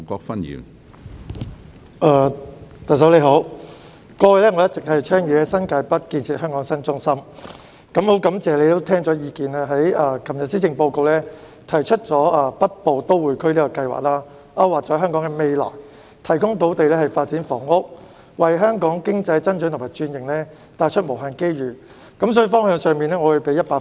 特首，過去我一直倡議在新界北建設香港新中心，很感謝你聽取意見，在昨天的施政報告中提出"北部都會區"這個計劃，勾劃了香港的未來，提供土地發展房屋，為香港經濟增長和轉型帶來無限機遇，所以在方向上，我會給你100分。